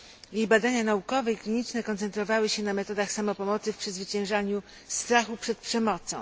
Jej badania naukowe i kliniczne koncentrowały się na metodach samopomocy w przezwyciężaniu strachu przed przemocą.